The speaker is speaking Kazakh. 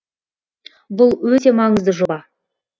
бұл өте маңызды жоба